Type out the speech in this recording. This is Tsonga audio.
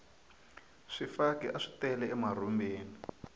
swifaki aswi tele emarhumbini